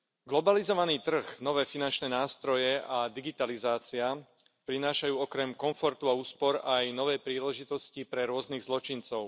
Globalizovaný trh, nové finančné nástroje a digitalizácia prinášajú okrem komfortu a úspor aj nové príležitosti pre rôznych zločincov.